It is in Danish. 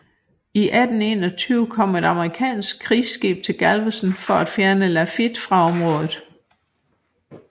I 1821 kom et amerikansk krigsskib til Galveston for at fjerne Lafitte fra området